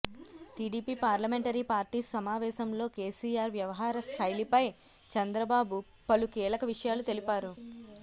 TDP parliamentary party సమావేశంలో కేసీఆర్ వ్యవహార శైలిపై చంద్రబాబు పలు కీలక విషయాలు తెలిపారు